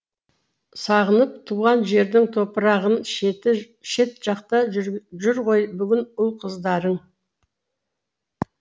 сағынып туған жердің топырағын шет жақта жүр ғой бүгін ұл қыздарың